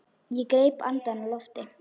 Ég greip andann á lofti.